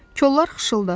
Kollar xışıldadı.